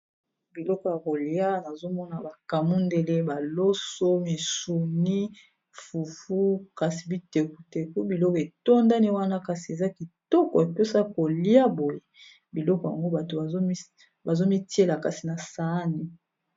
biloko ya kolia nazomona bakamundele ,baloso ,misuni , fufu ,kasi bitekuteku ,biloko etondani wana kasi eza kitoko epesa kolia boye biloko yango bato bazomitiela kasi na saani